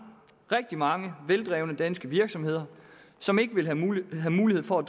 rigtig mange veldrevne danske virksomheder som ikke vil have mulighed mulighed for at